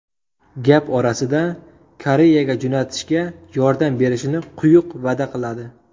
Gap orasida Koreyaga jo‘natishga yordam berishini quyuq va’da qiladi.